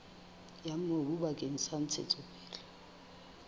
ya mobu bakeng sa ntshetsopele